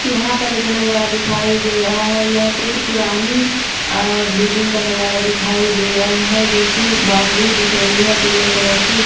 यहा पर दिखाई दे रहा है येह कुछ पुराणी अ बिल्डिंग का नजर दिखाई दे रहा है जोकि बाउंड्री दिख रही है पीले कलर की--